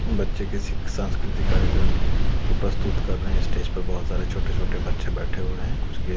बच्चे किसी सांस्कृतिक कार्यक्रम को प्रस्तुत कर रहे हैं स्टेज पे बहोत सारे छोटे छोटे बच्चे बैठे हुए हैं कुछ गे--